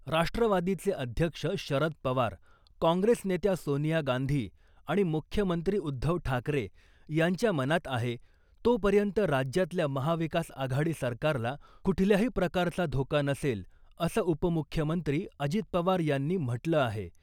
राष्ट्रवादीचे अध्यक्ष शरद पवार , काँग्रेस नेत्या सोनिया गांधी आणि मुख्यमंत्री उद्धव ठाकरे यांच्या मनात आहे , तोपर्यंत राज्यातल्या महाविकास आघाडी सरकारला कुठल्याही प्रकारचा धोका नसेल , असं उपमुख्यमंत्री अजित पवार यांनी म्हटलं आहे .